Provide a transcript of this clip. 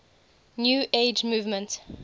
new age movement